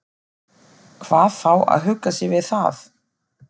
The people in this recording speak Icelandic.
Hvað þá að hugga sig við það.